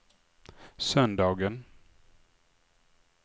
söndagen